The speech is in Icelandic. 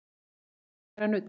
Það er að læra nudd.